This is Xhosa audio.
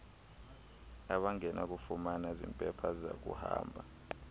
abangenakufumana zimpepha zakuhamba